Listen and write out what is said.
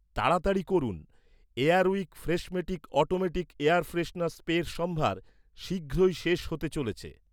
তাড়াতাড়ি করুন, Air Wick Freshmatic automatic air freshener স্প্রের সম্ভার শীঘ্রই শেষ হতে চলেছে